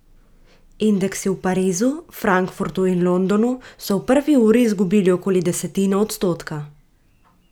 Indeksi v Parizu, Frankfurtu in Londonu so v prvi uri izgubili okoli desetino odstotka.